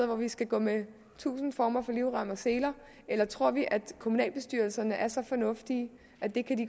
hvor vi skal gå med tusinde former for livrem og seler eller tror vi at kommunalbestyrelserne er så fornuftige at de